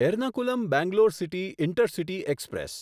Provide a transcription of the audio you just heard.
Ernakulam Bangalore city intercity express